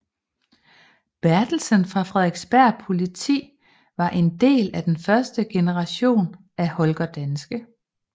Bertelsen fra Frederiksberg Politi var en del af den første generation af Holger Danske